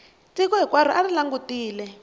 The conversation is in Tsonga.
tiko hinkwaro a ri langutele